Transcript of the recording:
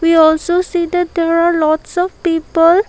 we also see that there are lots of people.